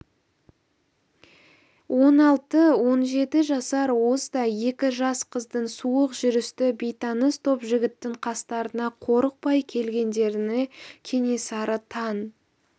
он алты-он жеті жасар уыздай екі жас қыздың суық жүрісті бейтаныс топ жігіттің қастарына қорықпай келгендеріне кенесары таң